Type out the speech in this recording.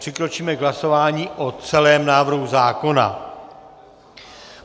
Přikročíme k hlasování o celém návrhu zákona.